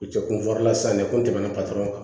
U cɛ kun fɔr'u la sisan de kun tɛmɛna kan